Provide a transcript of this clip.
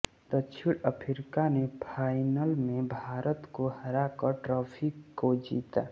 दक्षिण अफ्रीका ने फाइनल में भारत को हराकर ट्राफी को जीता